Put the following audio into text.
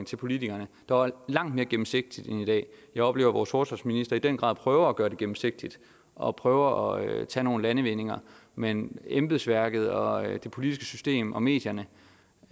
til politikerne der var langt mere gennemsigtigt end i dag jeg oplever at vores forsvarsminister i den grad prøver at gøre det gennemsigtigt og prøver at tage nogle landvindinger men embedsværket og det politiske system og medierne